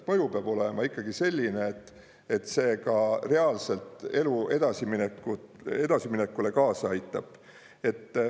Mõju peab olema ikkagi selline, et see ka reaalselt elu edasiminekule kaasa aitab.